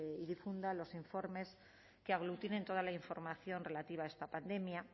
y difunda los informes que aglutinen toda la información relativa a esta pandemia